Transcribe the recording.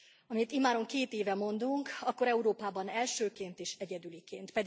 Amit immáron két éve mondunk, akkor Európában elsőként és egyedüliként.